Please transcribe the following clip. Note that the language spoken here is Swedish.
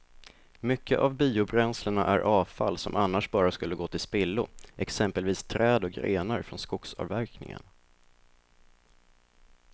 Mycket av biobränslena är avfall som annars bara skulle gå till spillo, exempelvis träd och grenar från skogsavverkningen.